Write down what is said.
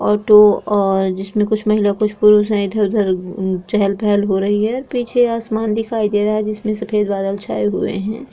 Auto और जिसमें कुछ महिला कुछ पुरुष है। इधर उधर चहल पहल हो रही है। पीछे आसमान दिखाई दे रहा है। सफ़ेद बादल छाए हुए है।